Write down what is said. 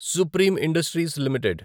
supreme Industries limited